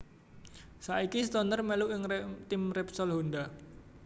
Saiki Stoner melu ing tim Repsol Honda